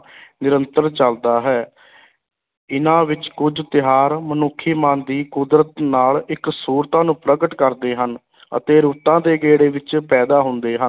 ਨਿਰੰਤਰ ਚੱਲਦਾ ਹੈ, ਇਨ੍ਹਾਂ ਵਿੱਚ ਕੁੱਝ ਤਿਉਹਾਰ ਮਨੁੱਖੀ ਮਨ ਦੀ ਕੁਦਰਤ ਨਾਲ ਇੱਕਸੁਰਤਾ ਨੂੰ ਪ੍ਰਗਟ ਕਰਦੇ ਹਨ ਅਤੇ ਰੁੱਤਾਂ ਦੇ ਗੇੜੇ ਵਿੱਚ ਪੈਦਾ ਹੁੰਦੇ ਹਨ।